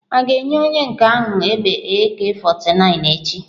A ga-enye onye nke ahụ egbe Ak49 echi?